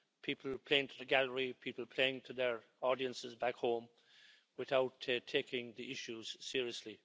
People playing to the gallery, people playing to their audiences back home without taking the issues seriously.